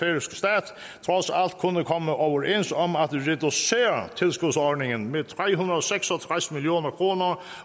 kunne komme overens om at reducere tilskudsordningen med tre hundrede og seks og tres million kroner